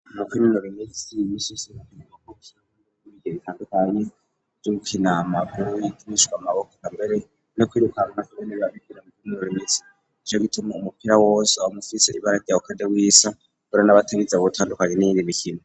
Umukimurobinisi imisisibakinamakok ibige bitandukanye y'ukinamabiwyitmishwa maboko ambere no kwirukana iboneba bikina mukimurorimitsi ijo gituma umupira wose abamufise ibararyawekade w'iso bura n'abategiza buwutandukanye n'iyindi mikino.